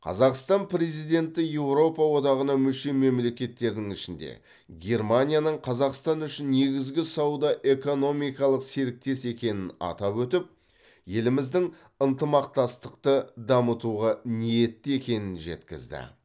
қазақстан президенті еуропа одағына мүше мемлекеттердің ішінде германияның қазақстан үшін негізгі сауда экономикалық серіктес екенін атап өтіп еліміздің ынтымақтастықты дамытуға ниетті екенін жеткізді